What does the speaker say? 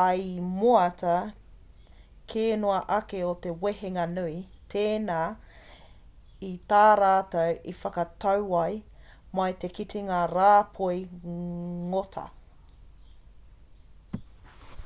ai i moata ke noa ake o te wehenga nui tēnā i tā rātou i whakatau ai mā te kitenga rāpoi ngota